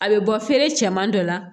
A bɛ bɔ feere cɛman dɔ la